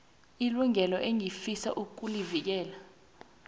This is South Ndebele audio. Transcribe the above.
ilungelo engifisa ukulivikela